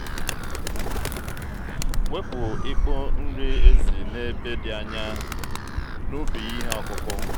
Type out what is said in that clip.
wepu ikpo nri ezi n'ebe dị anya n'ubi ihe ọkụkụ.